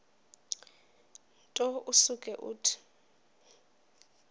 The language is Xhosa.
nto usuke uthi